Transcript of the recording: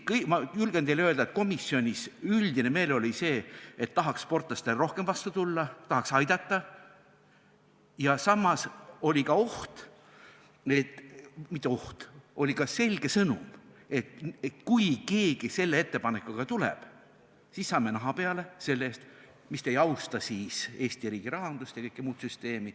Tõesti, ma julgen teile öelda, et komisjonis üldine meeleolu oli see, et tahaks sportlastele rohkem vastu tulla, tahaks aidata, ja samas oli ka oht – mitte ainult oht, oli ka selge sõnum –, et kui keegi selle ettepanekuga tuleb, siis saame naha peale selle eest, miks te ei austa Eesti riigi rahandust ja kogu muud süsteemi.